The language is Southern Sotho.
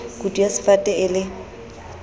kutu ya sefate e le